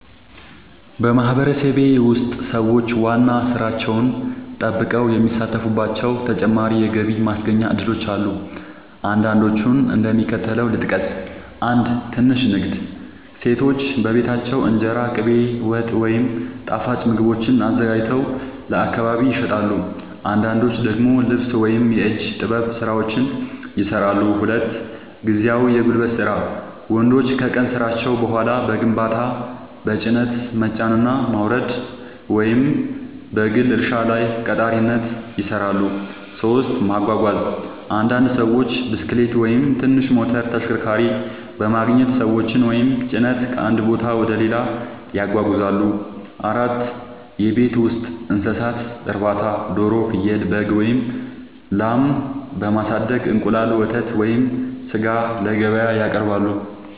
በማህበረሰቤ ውስጥ ሰዎች ዋና ሥራቸውን ጠብቀው የሚሳተፉባቸው ተጨማሪ የገቢ ማስገኛ እድሎች አሉ። አንዳንዶቹን እንደሚከተለው ልጠቅስ፦ 1. ትንሽ ንግድ – ሴቶች በቤታቸው እንጀራ፣ ቅቤ፣ ወጥ ወይም ጣፋጭ ምግቦችን አዘጋጅተው ለአካባቢ ይሸጣሉ። አንዳንዶች ደግሞ ልብስ ወይም የእጅ ጥበብ ሥራዎችን ይሠራሉ። 2. ጊዜያዊ የጉልበት ሥራ – ወንዶች ከቀን ሥራቸው በኋላ በግንባታ፣ በጭነት መጫንና ማውረድ፣ ወይም በግል እርሻ ላይ ቀጣሪነት ይሠራሉ። 3. ማጓጓዝ – አንዳንድ ሰዎች ብስክሌት ወይም ትንሽ ሞተር ተሽከርካሪ በማግኘት ሰዎችን ወይም ጭነት ከአንድ ቦታ ወደ ሌላ ያጓጉዛሉ። 4. የቤት ውስጥ እንስሳት እርባታ – ዶሮ፣ ፍየል፣ በግ ወይም ላም በማሳደግ እንቁላል፣ ወተት ወይም ሥጋ ለገበያ ያቀርባሉ።